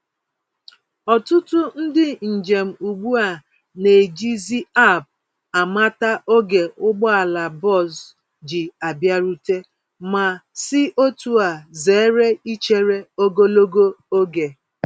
Ọtụtụ ndị njem ugbu a na-eji zi App amata ógè ụgbọala bọs ji abịarute, ma si otúa zere ichere ogologo oge.